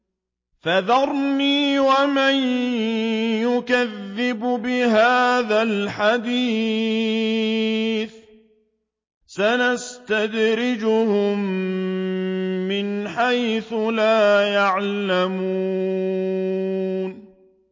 فَذَرْنِي وَمَن يُكَذِّبُ بِهَٰذَا الْحَدِيثِ ۖ سَنَسْتَدْرِجُهُم مِّنْ حَيْثُ لَا يَعْلَمُونَ